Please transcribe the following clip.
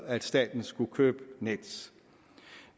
at staten skulle købe nets